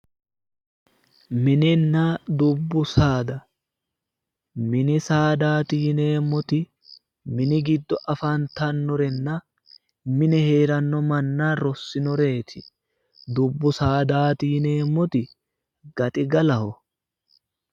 mininna dubbu saada mini saadaati yineemmoti mini giddo afantannoreetinna mini manna rossinoreeti dubbu saadaati yineemmoti gaxigalaho.